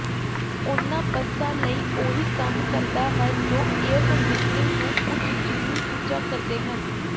ਉਨ੍ਹਾਂ ਬਸਾਂ ਲਈ ਉਹੀ ਕੰਮ ਕਰਦਾ ਹੈ ਜੋ ਏਅਰਕੰਡੀਸ਼ਨਿੰਗ ਨੂੰ ਉੱਚ ਜਿੰਨੀ ਉੱਚਾ ਕਰਦੇ ਹਨ